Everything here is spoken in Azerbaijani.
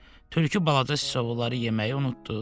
Tülkü balaca siçovulları yeməyi unutdu.